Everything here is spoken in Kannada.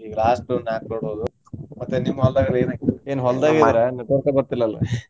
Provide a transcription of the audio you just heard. ಈಗ last ದು ನಾಕ load ಹೋದ್ವು. ಮತ್ತೆ ನಿಮ್ಮ ಹೊಲ್ದಾಗೆಲ್ಲ ಏನ್ ಹಾಕಿರಿ? network ಏ ಬರ್ತಿಲ್ಲ ಅಲ್ಲಾ?